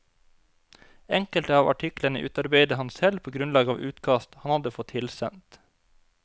Enkelte av artiklene utarbeidet han selv på grunnlag av utkast han hadde fått tilsendt.